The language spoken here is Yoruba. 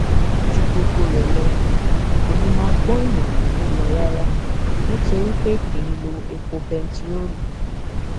ju gbogbo rẹ lọ kò ní í máa gbọn èèyàn lọwọ lọ rárá nítorí pé kì í lo epo bẹntiróòlù